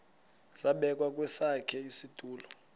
zabekwa kwesakhe isitulo